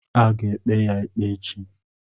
Ha ga-ekpe ya ikpe echi.